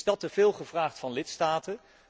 Is dat te veel gevraagd van lidstaten?